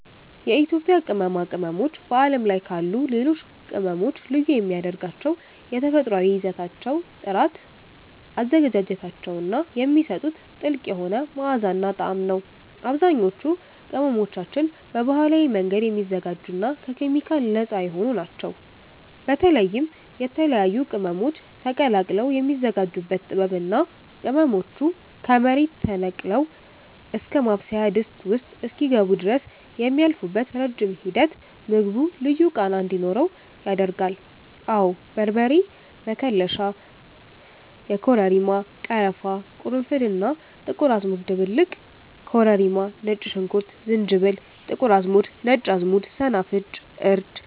የኢትዮጵያ ቅመማ ቅመሞች በዓለም ላይ ካሉ ሌሎች ቅመሞች ልዩ የሚያደርጋቸው የተፈጥሮአዊ ይዘታቸው ጥራት፣ አዘገጃጀታቸው እና የሚሰጡት ጥልቅ የሆነ መዓዛና ጣዕም ነው። አብዛኞቹ ቅመሞቻችን በባህላዊ መንገድ የሚዘጋጁና ከኬሚካል ነፃ የሆኑ ናቸው። በተለይም የተለያዩ ቅመሞች ተቀላቅለው የሚዘጋጁበት ጥበብ እና ቅመሞቹ ከመሬት ተነቅለው እስከ ማብሰያ ድስት ውስጥ እስኪገቡ ድረስ የሚያልፉበት ረጅም ሂደት ምግቡ ልዩ ቃና እንዲኖረው ያደርጋል። አወ በርበሬ መከለሻ (የኮረሪማ፣ ቀረፋ፣ ቅርንፉድ እና ጥቁር አዝሙድ ድብልቅ) ኮረሪማ ነጭ ሽንኩርት ዝንጅብል ጥቁር አዝሙድ ነጭ አዝሙድ ሰናፍጭ እርድ